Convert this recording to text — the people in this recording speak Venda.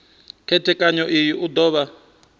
khethekanyo iyi u do vha